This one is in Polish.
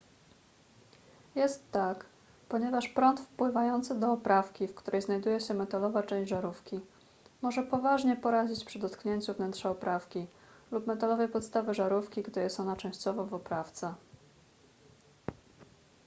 jest tak ponieważ prąd wpływający do oprawki w której znajduje się metalowa część żarówki może poważnie porazić przy dotknięciu wnętrza oprawki lub metalowej podstawy żarówki gdy jest ona częściowo w oprawce